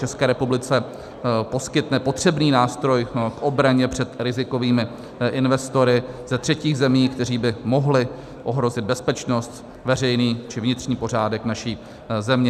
České republice poskytne potřebný nástroj k obraně před rizikovými investory ze třetích zemí, kteří by mohli ohrozit bezpečnost, veřejný či vnitřní pořádek naší země.